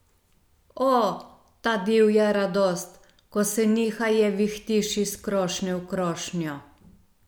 O, ta divja radost, ko se nihaje vihtiš iz krošnje v krošnjo!